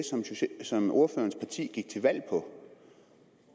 som ordførerens parti gik til valg på